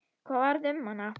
Hvað varð um hana?